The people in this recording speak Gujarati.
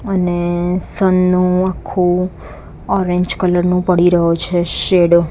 અને સન નુ આખુ ઓરેન્જ કલર નું પડી રહ્યો છે શેડો .